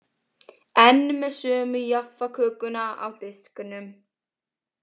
Enn með sömu Jaffakökuna á disknum.